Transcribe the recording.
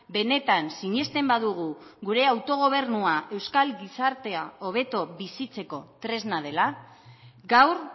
benetan sinesten badugu gure autogobernua euskal gizartea hobeto bizitzeko tresna dela gaur